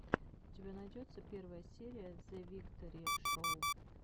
у тебя найдется первая серия зэвикторишоу